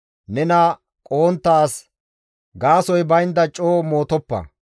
Nena qohontta as gaasoy baynda coo mootoppa.